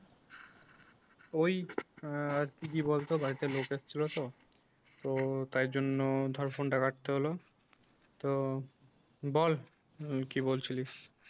ওই আহ কি বলতো বাড়িতে লোক এসছিল তো তো তাই জন্য ধর phone টা রাখতে হলো । তো বল আহ কি বলছিলিস?